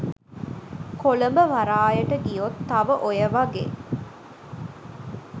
කොළඹ වරායට ගියොත් තව ඔය වගේ